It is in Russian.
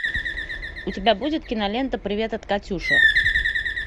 у тебя будет кинолента привет от катюши